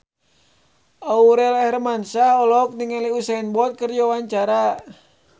Aurel Hermansyah olohok ningali Usain Bolt keur diwawancara